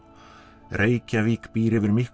Reykjavík býr yfir miklu